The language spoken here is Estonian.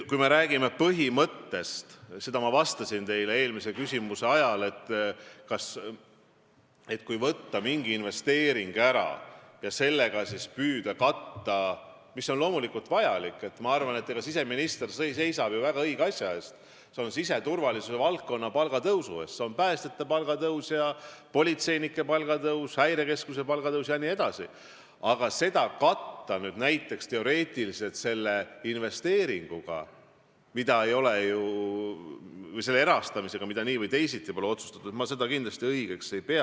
Kui me räägime põhimõttest, siis ma vastasin teie eelmisele küsimusele, et kui võtta mingi investeering ära ja püüda sellega katta seda puuduvat summat , kui näiteks teoreetiliselt püüda katta seda investeeringurahaga või erastamisest tuleva rahaga, mida nii või teisiti pole otsustatud, siis mina seda kindlasti õigeks ei pea.